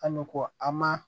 An bɛ ko an ma